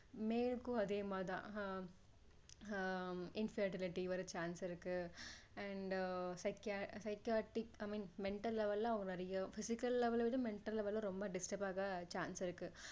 male க்கும் அதே மாதிரி தான் ஆஹ் ஆஹ் infertility வர chance இருக்கு and psychiatric i mean mental level அவங்க நிறைய physical level ல விட mental level ல ரொம்ப distrub ஆக chance இருக்கு